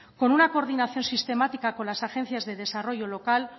con una coordinación sistemática con las agencias de desarrollo local